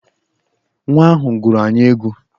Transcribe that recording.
Nwa ahụ gụrụ anyị egwu!